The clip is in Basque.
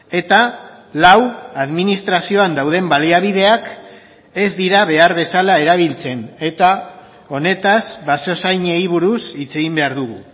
eta lau administrazioan dauden baliabideak ez dira behar bezala erabiltzen eta honetaz basozainei buruz hitz egin behar dugu